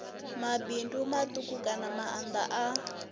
mabindu matuku kana maanda a